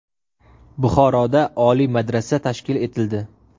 Buxoroda Oliy madrasa tashkil etildi.